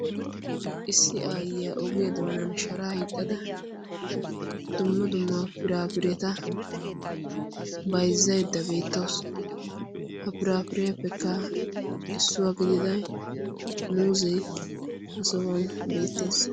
issi aayyiyaa ogiyaa doonan sharaa hiixxada dumma dummaa piraafireeta baizzaidda beettawusu ha piraafiraepfekka issuwaa gidida muuzee ha souwan beettees